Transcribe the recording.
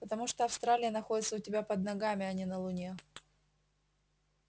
потому что австралия находится у тебя под ногами а не на луне